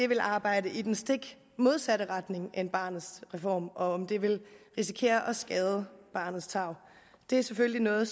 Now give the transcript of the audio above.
vil arbejde i den stik modsatte retning af barnets reform og om de vil risikere at skade barnets tarv det er selvfølgelig noget